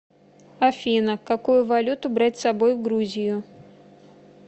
афина какую валюту брать с собой в грузию